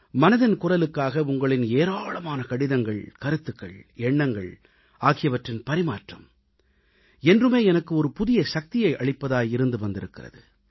மனதின் குரலுக்காக உங்களின் ஏராளமான கடிதங்கள் கருத்துகள் எண்ணங்கள் ஆகியவற்றின் பரிமாற்றம் என்றுமே எனக்கு ஒரு புதிய சக்தியை அளிப்பதாக இருந்து வந்திருக்கிறது